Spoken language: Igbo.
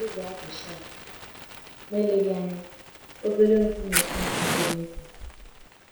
Ezé azụ shark? Ma eleghị anya, obere nkume flint nke dị nkọ?